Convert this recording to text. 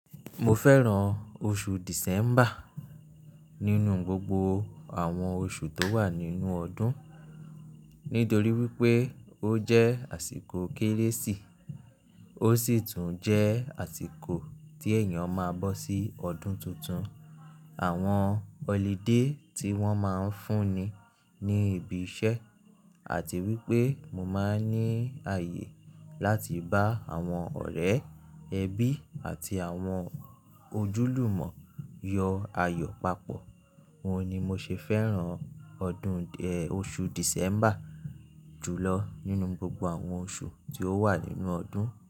Mo fẹ́ràn oṣù December nínú gbogbo àwọn oṣù tó wà nínú ọdún, nítorí wípé ó jẹ́ àsìkò Kérésì, ó sì tún jẹ́ àsìkò tí èèyàn máa bọ́ sí ọdún tuntun. Àwọn holiday tí wón máa ń fún ni ní ibi iṣẹ́ àti wípé mo máa ń ní ààyè láti bá àwọn ọ̀rẹ́ ẹbí àti àwọn ojúlùmọ̀ yọ ayọ̀ papọ̀. Óun ni mo ṣe fẹ́ràn ọdún, oṣù December jùlọ nínú gbogbo àwọn oṣù tí ó wà nínú ọdún.